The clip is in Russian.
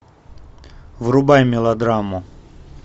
врубай мелодраму